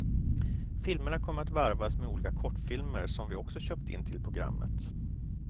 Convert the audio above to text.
Filmerna kommer att varvas med olika kortfilmer som vi också köpt in till programmet.